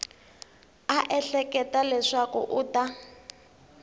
a ehleketa leswaku u ta